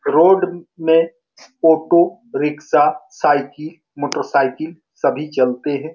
Road में auto rickshaw cycle motor cycle सभी चलते हैं ।